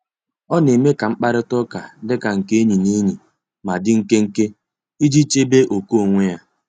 Ọ na-eme ka mkparịta ụka dika nke enyi na enyi, ma di nkenke iji chebe ókè onwe ya.